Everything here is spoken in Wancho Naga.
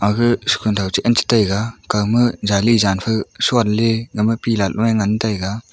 aga shukhanthau che anche tega kawma jali jan fe shronley gama pillar loe ngan tega.